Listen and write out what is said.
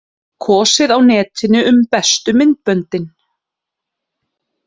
Kosið á netinu um bestu myndböndin